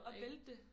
Og vælte det